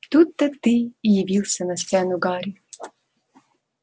тут-то ты и явился на сцену гарри